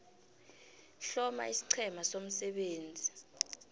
hloma isiqhema somsebenzi